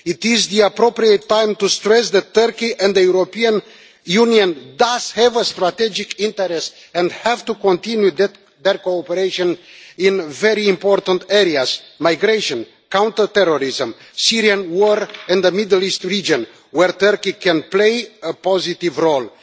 It is the appropriate time to stress that Turkey and the European Union does have a strategic interest and have to continue their cooperation in very important areas migration, counterterrorism, Syrian war in the Middle East region, where Turkey can play a positive role.